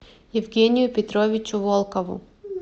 евгению петровичу волкову